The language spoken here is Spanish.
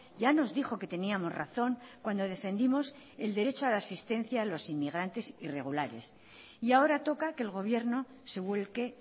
ya nos dijo que teníamos razón cuando defendimos el derecho a la asistencia a los inmigrantes irregulares y ahora toca que el gobierno se vuelque